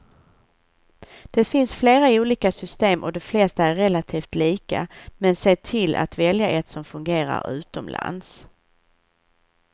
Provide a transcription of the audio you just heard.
Det finns flera olika system och de flesta är relativt lika, men se till att välja ett som fungerar utomlands.